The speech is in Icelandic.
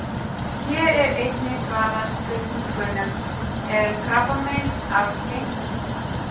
Hér er einnig svarað spurningunum: Er krabbamein arfgengt?